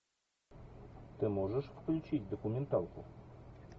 ты можешь включить документалку